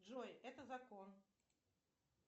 джой это закон